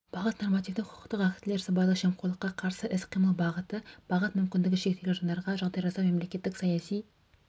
бағыт нормативтік-құқықтық актілер сыбайлас жемқорлыққа қарсы іс-қимыл бағыты бағыт мүмкіндігі шектеулі жандарға жағдай жасау мемлекеттік саяси